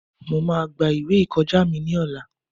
Mo máa gba ìwé ìkọjá mi ní ọ̀la.